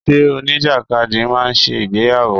Ṣé oníjàkadì máa ṣe ìgbéyàwó?